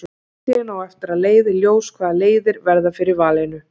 Framtíðin á eftir að leiða í ljós hvaða leiðir verða fyrir valinu.